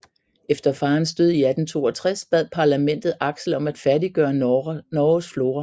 Efter farens død i 1862 bad Parlamentet Axel om at færdiggøre Norges Flora